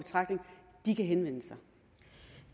i betragtning kan henvende